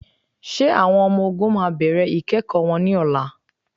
Ṣé àwọn ọmọ-ọ̀gùn máa bẹ̀rẹ̀ ikẹ́kọ wọn ní ọlá?